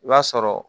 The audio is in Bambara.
I b'a sɔrɔ